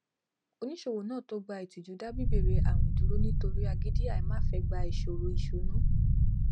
oníṣòwò náà tó gba ìtìjú dá bibere àwìn dúró nítòri agídí àìmáfẹgbà ìṣòro ìṣúná